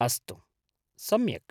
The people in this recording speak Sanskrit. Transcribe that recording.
अस्तु, सम्यक्।